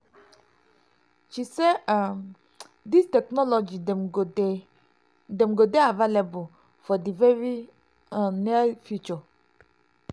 she say um dis technology dem go dey dem go dey available for di very um near future".